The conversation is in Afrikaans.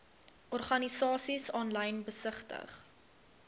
organisasies aanlyn besigtig